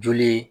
Joli